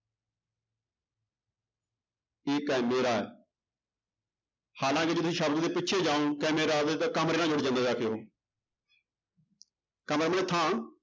ਠੀਕ ਹੈ ਮੇਰਾ ਹਾਲਾਂਕਿ ਤੁਸੀਂ ਸ਼ਬਦ ਦੇ ਪਿੱਛੇ ਜਾਓ ਜਾਂਦਾ ਜਾ ਕੇ ਉਹ